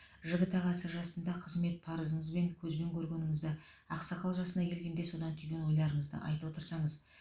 жігіт ағасы жасында қызмет парызынызбен көзбен көргеніңізді ақсақал жасына келгенде содан түйген ойларыңызды айта отырсаңыз